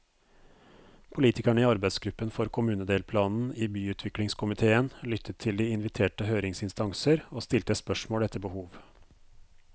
Politikerne i arbeidsgruppen for kommunedelplanen i byutviklingskomitéen lyttet til de inviterte høringsinstanser, og stilte spørsmål etter behov.